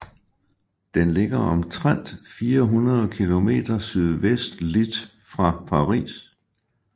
Den ligger omtrent 400 km sydvestligt fra Paris